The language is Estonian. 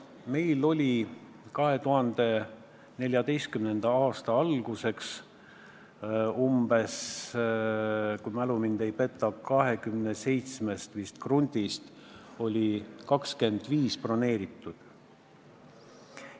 Meil oli 2014. aasta alguseks, kui mu mälu mind ei peta, 27 krundist vist 25 broneeritud.